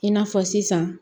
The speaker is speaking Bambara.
I n'a fɔ sisan